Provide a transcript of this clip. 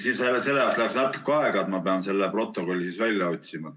Siis sellega läheb natuke aega, ma pean selle protokolli välja otsima.